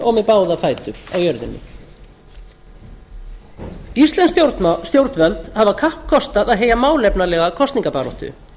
og með báða fætur á jörðinni íslensk stjórnvöld hafa kappkostað að heyja málefnalega kosningabaráttu